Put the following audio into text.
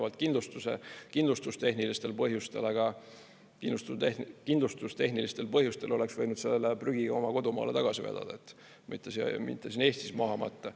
Väidetavalt kindlustustehnilistel põhjustel, aga kindlustustehnilistel põhjustel oleks võinud sellele prügi oma kodumaale tagasi vedada, mitte siin Eestis maha matta.